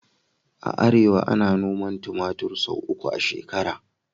A arewa, ana noman tumatir sau uku a shekara